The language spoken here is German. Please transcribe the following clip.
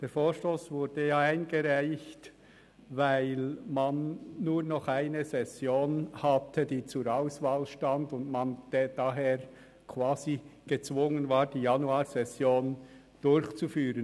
Der Vorstoss wurde ja eingereicht, weil man nur noch eine Session zur Verfügung hatte, die zur Auswahl stand, und man deshalb gezwungen war, die Januarsession durchzuführen.